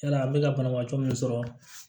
Yala an bɛ ka banabaatɔ min sɔrɔ